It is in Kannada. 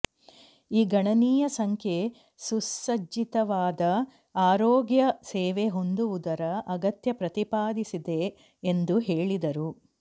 ಈ ಗಣನೀಯ ಸಂಖ್ಯೆ ಸುಸಜ್ಜಿತವಾದ ಆರೋಗ್ಯ ಸೇವೆ ಹೊಂದುವುದರ ಅಗತ್ಯ ಪ್ರತಿಪಾದಿಸಿದೆ ಎಂದು ಹೇಳಿದರು